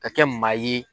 Ka kɛ maa ye